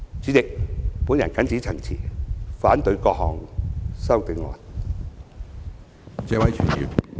主席，我謹此陳辭，反對各項修正案。